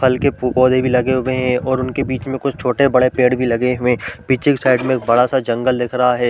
फल के पौधे भी लगे हुए है और उनके बीच में कुछ छोटॆ -बड़े पेड़ लगे हुए है पीछे के साइड में एक बडा-सा जंगल दिख रहा है ।